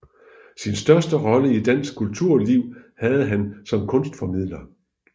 Sin største rolle i dansk kulturliv havde han som kunstformidler